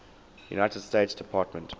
united states department